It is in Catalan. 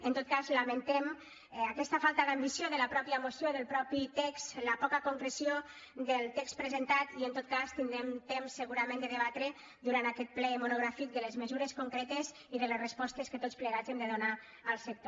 en tot cas la·mentem aquesta falta d’ambició de la mateixa moció del mateix text la poca concreció del text presentat i en tot cas tindrem temps segurament de debatre durant aquest ple monogràfic de les mesures concre·tes i de les respostes que tots plegats hem de donar al sector